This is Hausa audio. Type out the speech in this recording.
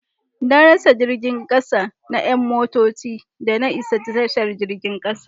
Na rasa jirgin kasa na 'yan mintoci da na isa tashar jirgin kasa.